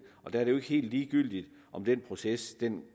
er det jo ikke helt ligegyldigt om den proces